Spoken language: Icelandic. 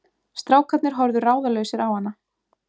Strákarnir horfðu ráðalausir á hana.